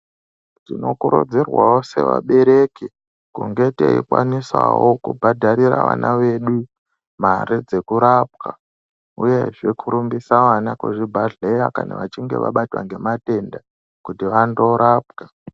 Tinokurudzirwawo sevabereki kunge teibhadharira vana vedu mare dzemurapwa uyezve kurumbisa vana kuzvibhedhleya kana vachinge vabatwa ngematenda kuti vandorapwa.